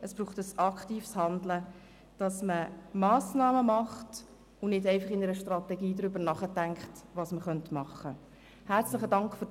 Es braucht ein aktives Handeln und konkrete Massnahmen, es reicht nicht, einfach im Rahmen einer Strategie darüber nachzudenken, was man tun könnte.